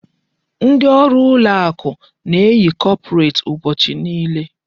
Ndi ọrụ ụlọ akụ na-eyi kọpret ụbọchị niile.